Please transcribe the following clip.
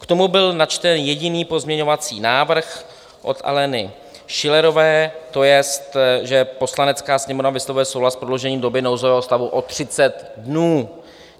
K tomu byl načten jediný pozměňovací návrh od Aleny Schillerové, to jest, že Poslanecká sněmovna vyslovuje souhlas v prodloužením doby nouzového stavu o 30 dnů.